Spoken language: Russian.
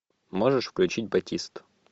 можешь включить батист